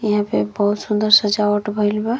यहां पे बहुत सुन्दर सजावट भइल बा।